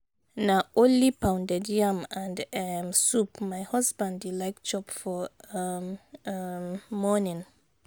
na only pounded yam and um soup my husband dey like chop for um um morning.